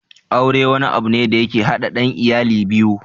Aure wani abu ne da yake haɗa ɗan iyali biyu